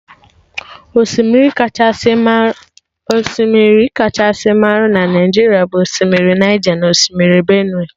Osimiri akacha marụ na Naijiria bụ osimiri Naija na Osimiri Benue